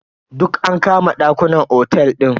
Duk an kama ɗakunan otel din.